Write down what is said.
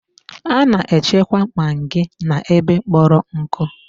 A na-echekwa maggi n'ebe kpọrọ nkụ.